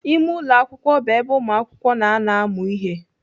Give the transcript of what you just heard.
Ime ụlọ akwụkwọ bụ ebe ụmụakwụkwọ na-anọ amụ ihe.